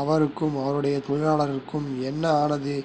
அவருக்கும் அவருடைய தொழிலாளர்களுக்கும் என்ன ஆனது